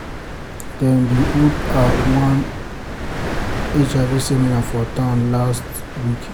dem bin hold ah one hiv seminar for town hall last week.